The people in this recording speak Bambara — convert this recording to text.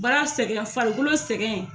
Baara sɛgɛn farikolo sɛgɛn